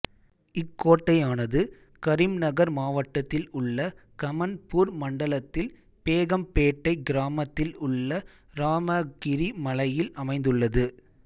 இக்கோட்டையானது கரீம்நகர் மாவட்டத்தில் உள்ள கமன்பூர் மண்டலத்தில் பேகம்பேட்டை கிராமத்தில் உள்ள இராமகிரி மலையில் அமைந்துள்ளது